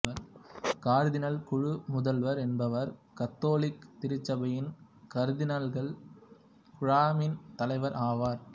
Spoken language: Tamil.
கர்தினால் குழு முதல்வர் என்பவர் கத்தோலிக்க திருச்சபையின் கர்தினால்கள் குழாமின் தலைவர் ஆவார்